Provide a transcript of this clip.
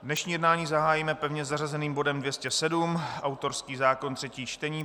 Dnešní jednání zahájíme pevně zařazeným bodem 207, autorský zákon, třetí čtení.